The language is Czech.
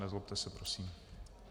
Nezlobte se prosím.